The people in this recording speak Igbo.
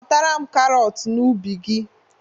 Ghotara m karọt n'ubi gị!